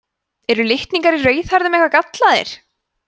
eru litningar í rauðhærðum eitthvað gallaðir